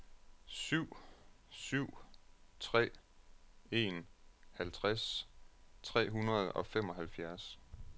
syv syv tre en halvtreds tre hundrede og femoghalvfjerds